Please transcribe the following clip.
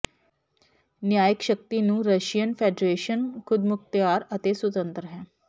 ਨਿਆਇਕ ਸ਼ਕਤੀ ਨੂੰ Russian Federation ਖੁਦਮੁਖਤਿਆਰ ਅਤੇ ਸੁਤੰਤਰ ਹੈ